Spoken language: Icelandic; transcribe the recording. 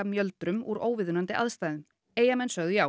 mjöldrum úr óviðunandi aðstæðum Eyjamenn sögðu já